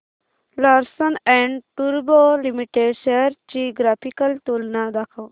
Larsen and टुर्बो limited shares ची graphical तुलना दाखव